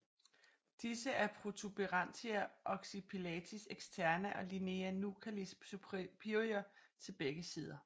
Disse er protuberantia occipitalis externa og linea nuchalis superior til begge sider